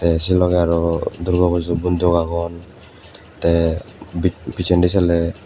tey sei logey aro durgo pujo bonduk agon tey bi pijendi seley.